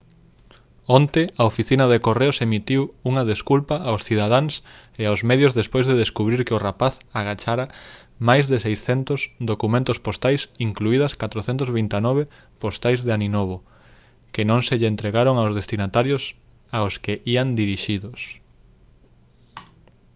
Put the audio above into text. onte a oficina de correos emitiu unha desculpa aos cidadáns e aos medios despois de descubrir que o rapaz agachara máis de 600 documentos postais incluídas 429 postais de aninovo que non se lle entregaron aos destinatarios aos que ían dirixidos